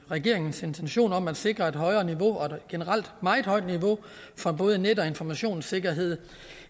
regeringens intentioner om at sikre et højere niveau og et generelt meget højt niveau for både net og informationssikkerhed